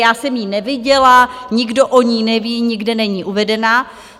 Já jsem ji neviděla, nikdo o ní neví, nikde není uvedena.